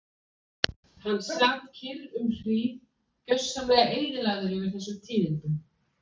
Hann sat kyrr um hríð, gjörsamlega eyðilagður yfir þessum tíðindum.